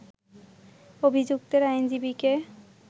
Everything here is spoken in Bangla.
অভিযুক্তের আইনজীবীকে